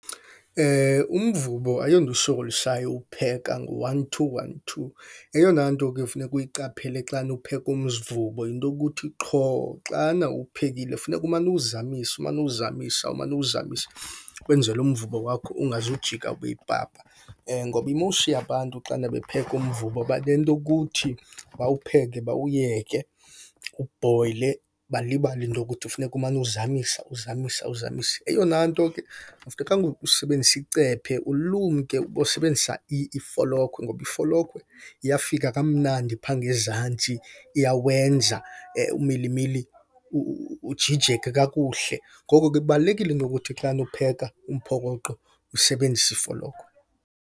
Umvubo ayonto isokolisayo uwupheka, ngu-one two, one two. Eyona nto ke ofuneka uyiqaphele xana upheka umvubo yinto yokuthi qho xana uwuphekile funeka umane uwuzamisa, umane uwuzamisa umane, uwuzamisa kwenzele umvubo wakho ungazujika ube yipapa. Ngoba i-most yabantu xana bepheka umvubo banento yokuthi bawupheke bawuyeke ubhoyile, balibale into yokuthi funeka umane uzamisa uzamisa uzamisa. Eyona nto ke, akufunekanga usebenzise icephe, ulumke. Ubosebenzisa ifolokhwe ngoba ifolokhwe iyafika kamnandi phaa ngezantsi, iyawenza umilimili ukujijeke kakuhle. Ngoko ke kubalulekile into ukuthi xana upheka umphokoqo usebenzisa ifolokhwe.